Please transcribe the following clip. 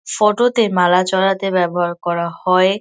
Photo -তে মালা চড়াতে ব্যাবহার করা হয়।